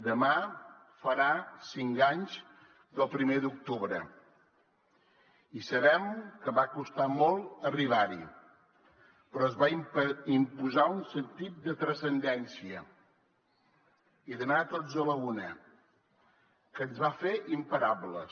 demà farà cinc anys del primer d’octubre i sabem que va costar molt arribar hi però es va imposar un sentit de transcendència i d’anar tots a la una que ens va fer imparables